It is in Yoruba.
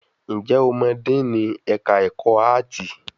Ǹjẹ́ o mọ díìnì ẹ̀ka ẹ̀kọ́ áàtì?